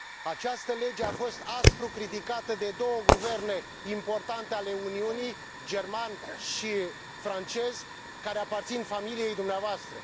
Această lege a fost aspru criticată de două guverne importante ale Uniunii, german și francez, care aparțin familiei dumneavoastră.